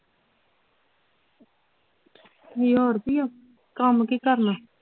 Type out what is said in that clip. ਕੰਮ ਕੀ ਕਰਨਾ